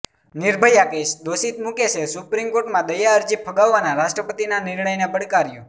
Nirbhaya case દોષિત મુકેશે supreme કોર્ટમાં દયા અરજી ફગાવવાના રાષ્ટ્રપતિના નિર્ણયને પડકાર્યો